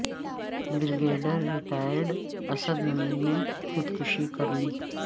brigadier retired Asad Munir نے خود کشی کر لی